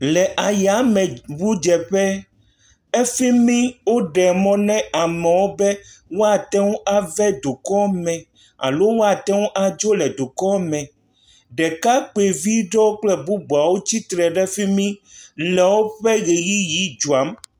Le ayameŋudzeƒe. Efi mi woɖe mɔ na amewo be woate ŋu ave dukɔ me alo woate ŋu adzo le dukɔ me. Ɖekakpuivi ɖewo kple bubu aɖewo tsitre ɖe fi mi le woƒe ʋeyiʋi dzɔm.